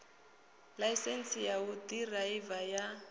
ḽaisentsi ya u ḓiraiva ya